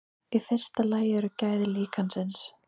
Í fyrsta lagi eru gæði líkansins.